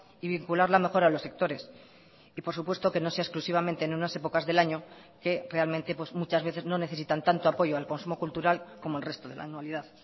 y vincularla mejor a los sectores y por supuesto que no sea exclusivamente en unas épocas del año que realmente muchas veces no necesitan tanto apoyo al consumo cultural como el resto de la anualidad